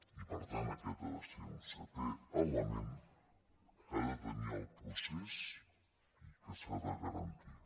i per tant aquest ha de ser un setè element que ha de tenir el procés i que s’ha de garantir